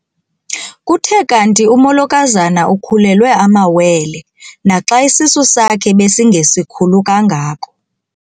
Kuthe kanti umolokazana ukhulelwe amawele naxa isisu sakhe besingesikhulu kangako.